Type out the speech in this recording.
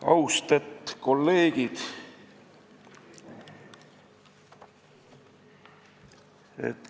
Austet kolleegid!